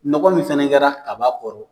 Nɔgɔ min fɛnɛ kɛra kaba kɔrɔ